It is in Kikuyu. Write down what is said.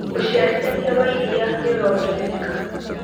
ũciarithanĩa wa iria nĩũrongerereka